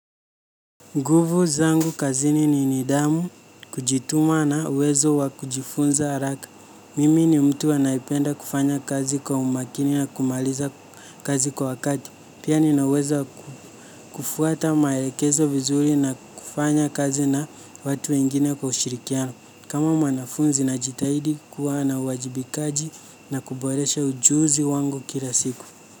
Nguvu zangu kazini ni nidhamu, kujituma na uwezo wa kujifunza haraka. Mimi ni mtu anayependa kufanya kazi kwa umakini na kumaliza kazi kwa wakati. Pia ninaweza kufuata maelekezo vizuri na kufanya kazi na watu wengine kwa ushirikiano. Kama wwanafunzi najitahidi kuwa na wajibikaji na kuboresha ujuzi wangu kila siku.